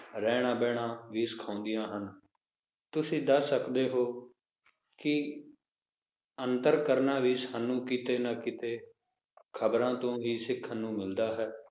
ਰਹਿਣਾ ਬਹਿਣਾ ਵੀ ਸਿਖਾਉਂਦੀਆਂ ਹਨ ਤੁਸੀਂ ਦੱਸ ਸਕਦੇ ਹੋ ਕਿ ਅੰਤਰ ਕਰਨਾ ਵੀ ਸਾਨੂੰ ਕਿਤੇ ਨਾ ਕਿਤੇ ਖਬਰਾਂ ਤੋਂ ਹੀ ਸਿੱਖਣ ਨੂੰ ਮਿਲਦਾ ਹੈ